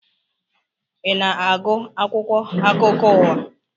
I na-agu akwụkwọ akụkọ ụwa?